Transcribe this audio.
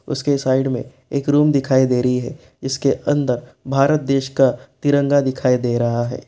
उसके साइड मे एक रूम दिखाई दे रही है जिसके अंदर भारत देश का तिरंगा दिखाई दे रहा है।